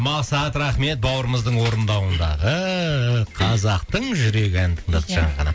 мақсат рахмет бауырымыздың орындауындағы қазақтың жүрегі әнін тыңдадық жаңа ғана